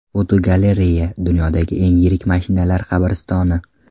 Fotogalereya: Dunyodagi eng yirik mashinalar qabristoni.